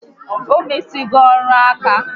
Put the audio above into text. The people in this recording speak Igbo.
Ọ mụsigo ọrụ ǹkà